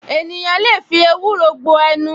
Ènìyàn lè fi ewúro gbo ẹnu